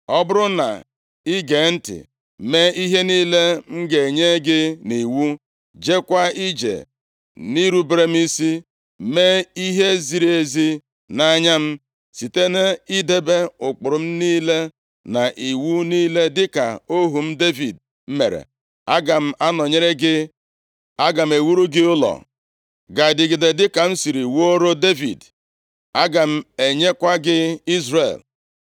Ọ bụrụ na i gee ntị mee ihe niile m ga-enye gị nʼiwu, jekwa ije nʼirubere m isi, mee ihe ziri ezi nʼanya m, site nʼidebe ụkpụrụ niile na iwu niile, dịka ohu m Devid mere, aga m anọnyere gị. Aga m ewuru gị ụlọ ga-adịgide dịka m siri wuoro Devid. Aga m enyekwa gị Izrel.